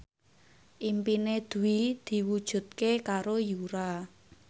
impine Dwi diwujudke karo Yura